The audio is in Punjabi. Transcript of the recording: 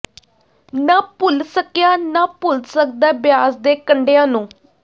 ਨਾ ਭੁੱਲ ਸਕਿਆਂ ਨਾ ਭੁੱਲ ਸਕਦਾਂ ਬਿਆਸ ਦੇ ਕੰਢਿਆਂ ਨੂੰ